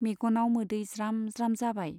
मेग'नाव मोदै ज्राम ज्राम जाबाय।